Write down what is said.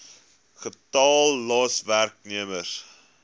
getal los werknemers